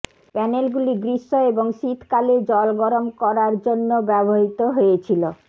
প্যানেলগুলি গ্রীষ্ম এবং শীতকালে জল গরম করার জন্য ব্যবহৃত হয়েছিল